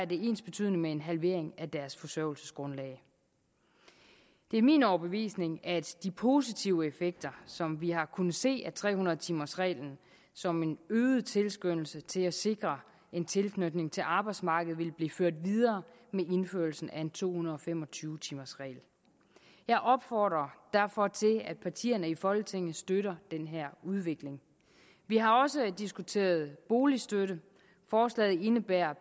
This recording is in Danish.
det ensbetydende med en halvering af deres forsørgelsesgrundlag det er min overbevisning at de positive effekter som vi har kunnet se af tre hundrede timers reglen som en øget tilskyndelse til at sikre en tilknytning til arbejdsmarkedet vil blive ført videre med indførelsen af en to hundrede og fem og tyve timers regel jeg opfordrer derfor til at partierne i folketinget støtter den her udvikling vi har også diskuteret boligstøtte forslaget indebærer